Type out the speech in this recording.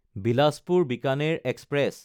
বিলাচপুৰ–বিকানেৰ express